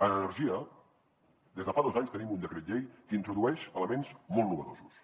en energia des de fa dos anys tenim un decret llei que introdueix elements molt innovadors